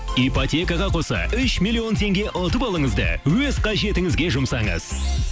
ипотекаға қоса үш миллион теңге ұтып алыңыз да өз қажетіңізге жұмсаңыз